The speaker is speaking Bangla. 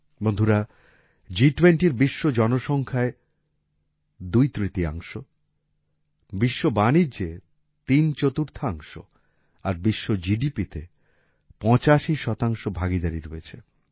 বন্ধুরা জিটুয়েন্টির বিশ্ব জনসংখ্যায় দুইতৃতীয়াংশ বিশ্ব বাণিজ্যে তিনচতুর্থাংশ আর বিশ্ব জিডিপিতে পঁচাশি শতাংশ ভাগীদারী রয়েছে